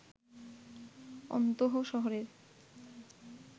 অন্তহ শহরের